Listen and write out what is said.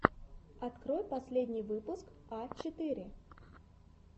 открой последний выпуск а четыре